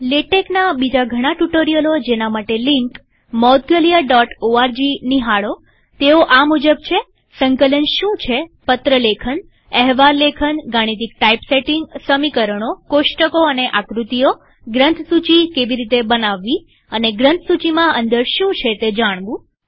લેટેકના બીજા ઘણા ટ્યુ્ટોરીઅલો જેના માટે લિંક moudgalyaઓર્ગ નિહાળોતેઓ આ મુજબ છે160 સંકલન શું છેપત્ર લેખનએહવાલ લેખનગાણિતિક ટાઇપસેટીંગસમીકરણોકોષ્ટકો અને આકૃતિઓગ્રંથસૂચી કેવી રીતે બનાવવીઅને ગ્રંથસુચીમાં અંદર શું છે તે જાણવું